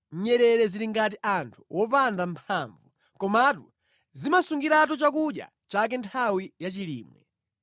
Nyerere zili ngati anthu opanda mphamvu, komatu zimasungiratu chakudya chake nthawi ya chilimwe;